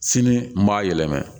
Sini n b'a yɛlɛma